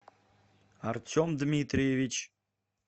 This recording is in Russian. артем дмитриевич